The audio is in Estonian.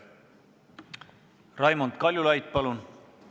Raimond Kaljulaid, palun!